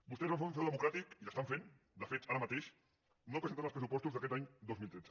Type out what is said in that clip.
vostès van fer un frau democràtic i l’estan fent de fet ara mateix no presentant els pressupostos d’aquest any dos mil tretze